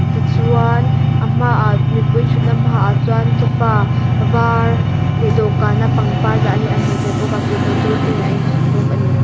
tichuan a hmaah mipui thutna hmaah chuan sofa var leh dawhkan a pangpar dah hi a hmuh theih bawk a tui bottle te nen a inchhawp bawk a ni.